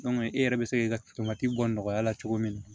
e yɛrɛ bɛ se k'i ka bɔ nɔgɔya la cogo min na